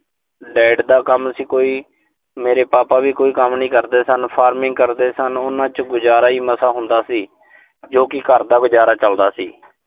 dad ਦਾ ਕੰਮ ਸੀ ਕੋਈ। ਮੇਰੇ papa ਵੀ ਕੋਈ ਕੰਮ ਨੀਂ ਕਰਦੇ ਸਨ। farming ਕਰਦੇ ਸਨ, ਉਨ੍ਹਾਂ ਚ ਗੁਜ਼ਾਰਾ ਈ ਮਸਾਂ ਹੁੰਦਾ ਸੀ, ਜੋ ਕਿ ਘਰ ਦਾ ਗੁਜ਼ਾਰਾ ਚਲਦਾ ਸੀ।